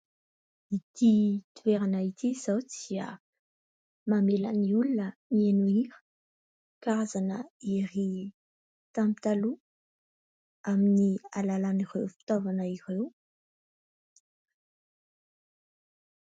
Ity toerana ity izao dia mamela ny olona mihaino hira. Karazana hira tamin'ny taloha, amin'ny alalan'ireo fitaovana ireo.